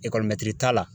t'a la